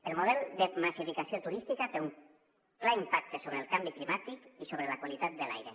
el model de massificació turística té un clar impacte sobre el canvi climàtic i sobre la qualitat de l’aire